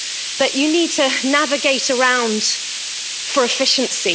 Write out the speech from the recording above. that you need to navigate around for efficiency.